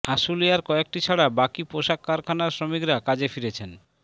আশুলিয়ার কয়েকটি ছাড়া বাকি পোশাক কারখানার শ্রমিকরা কাজে ফিরেছেন